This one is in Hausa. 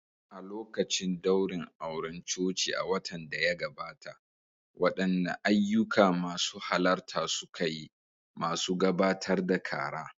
A lokacin daurin auren coci a watan da ya gabata, waɗanne ayyuka masu halarta suka yi, masu gabatar da kara?